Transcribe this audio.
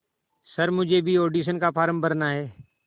sir मुझे भी audition का फॉर्म भरना है